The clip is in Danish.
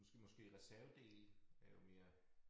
Nu skal måske reservedele er jo mere